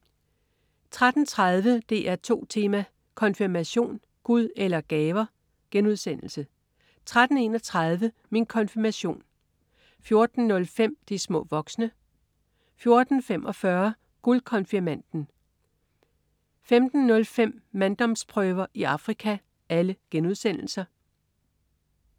13.30 DR2 Tema: Konfirmation. Gud eller gaver?* 13.31 Min konfirmation* 14.05 De små voksne* 14.45 Guldkonfirmanden* 15.05 Manddomsprøver i Afrika*